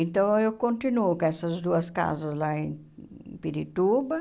Então, eu continuo com essas duas casas lá em Pirituba.